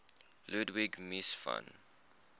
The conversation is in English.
ludwig mies van